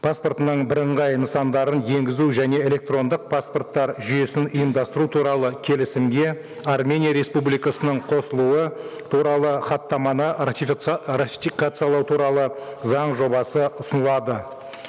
паспортының бірыңғай нысандарын енгізу және электрондық паспорттар жүйесін ұйымдастыру туралы келісімге армения республикасының қосылуы туралы хаттаманы ратификациялау туралы заң жобасы ұсынылады